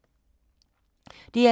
DR2